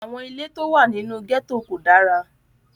Àwọn ilé tí ó wà nínú gẹ́tò kò dára